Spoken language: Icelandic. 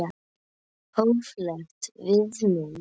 Hóflegt viðmið?